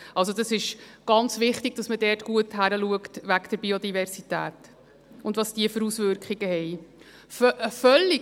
Also: Es ist ganz wichtig, dass man dort gut hinschaut wegen der Biodiversität und welche Auswirkungen sie hat.